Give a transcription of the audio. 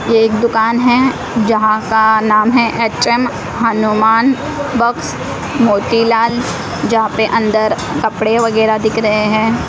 ये एक दुकान है जहां का नाम है एच_एम हनुमान बॉक्स मोतीलाल जहां पे अंदर कपड़े वगैरह दिख रहे हैं।